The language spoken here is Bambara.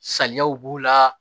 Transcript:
Saliyaw b'u la